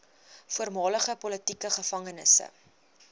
voormalige politieke gevangenes